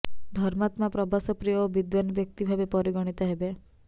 ଧର୍ମାତ୍ମା ପ୍ରବାସ ପ୍ରିୟ ଓ ବିଦ୍ବାନ ବ୍ୟକ୍ତି ଭାବେ ପରିଗଣିତ ହେବେ